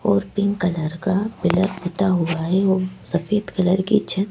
और pink colour का pillar पुता हुआ है और सफेद कलर की छत --